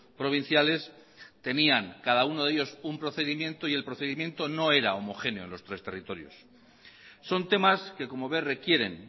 provinciales tenían cada uno de ellos un procedimiento y el procedimiento no era homogéneo en los tres territorios son temas que como ve requieren